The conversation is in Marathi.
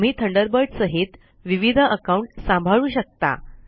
तुम्ही थंडरबर्ड सहित विविध अकाउंट सांभाळू शकता